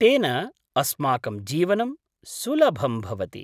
तेन अस्माकं जीवनं सुलभं भवति।